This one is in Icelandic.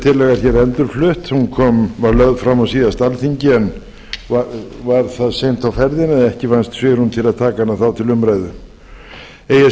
hér endurflutt hún var lögð fram á síðasta alþingi en var það seint á ferðinni að ekki vannst svigrúm til að taka hana þá til umræðu eigi að